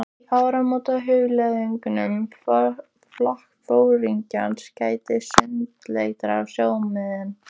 Í áramótahugleiðingum flokksforingjanna gætti sundurleitra sjónarmiða.